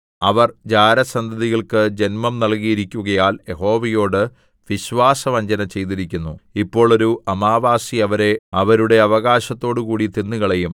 അവർ ജാരസന്തതികൾക്കു ജൻമം നൽകിയിരിക്കുകയാൽ യഹോവയോട് വിശ്വാസവഞ്ചന ചെയ്തിരിക്കുന്നു ഇപ്പോൾ ഒരു അമാവാസി അവരെ അവരുടെ അവകാശത്തോടുകൂടി തിന്നുകളയും